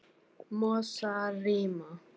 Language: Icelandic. Mosarima